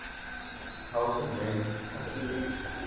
helper named talus